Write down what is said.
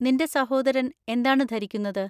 നിന്‍റെ സഹോദരൻ എന്താണ് ധരിക്കുന്നത്?